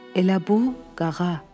Elə bu, Qağa.